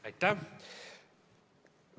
Aitäh!